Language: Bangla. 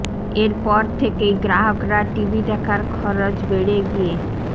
এর পর থেকেই গ্রাহকরা টিভি দেখার খরচ বেড়ে গিয়ে